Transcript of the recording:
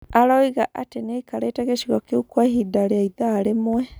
Aroiga atĩ nĩakarĩte gĩcigo kĩu kwa ihinda rĩa ithaa rĩmwe.